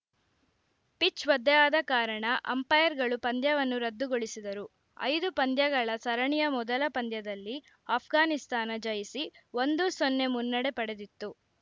pitch ಒದ್ದೆಯಾದ ಕಾರಣ ಅಂಪೈರ್‌ಗಳು ಪಂದ್ಯವನ್ನು ರದ್ದುಗೊಳಿಸಿದರು ಐದು ಪಂದ್ಯಗಳ ಸರಣಿಯ ಮೊದಲ ಪಂದ್ಯದಲ್ಲಿ ಆಷ್ಘಾನಿಸ್ತಾನ ಜಯಿಸಿ ಒಂದು ಸೊನ್ನೆ ಮುನ್ನಡೆ ಪಡೆದಿತ್ತು